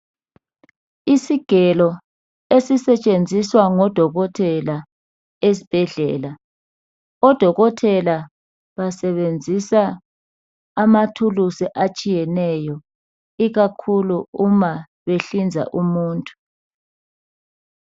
Isigelo esisetshenziswa ngodokotela esibhedlela odokotela basebenzisa amathuluzi atshiyeneyo ikakhulu nxa behlinza umuntu